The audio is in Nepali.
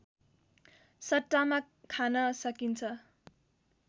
सट्टामा खान सकिन्छ